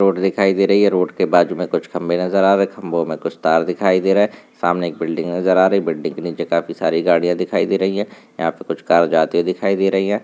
Road दिखाई दे रही है रोड के बाजू में कुछ खंबे नजर आ रहे खंबों में कुछ तार दिखाई दे रहे है सामने एक बिल्डिंग नजर आ रही बिल्डिंग के नीचे काफी सारी गाड़ियां दिखाई दे रही है यहाँ पे कुछ कार जाते हुए दिखाई दे रही है।